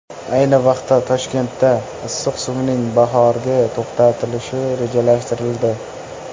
Ayni vaqtda, Toshkentda issiq suvning bahorgi to‘xtatilishi rejalashtirildi.